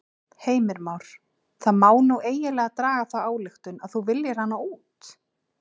Heimir Már: Það má nú eiginlega draga þá ályktun að þú viljir hana út?